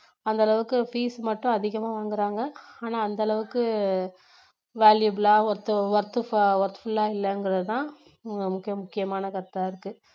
அந்த அளவுக்கு fees மட்டும் அதிகமா வாங்குறாங்க ஆனா அந்த அளவுக்கு valuable worth~worthf~worthful லா இல்லங்குறது தான் மிக முக்கியமான கருத்தா இருக்கு